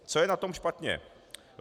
Co je na to špatně?